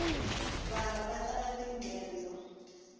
vana vatlanga tinghedzo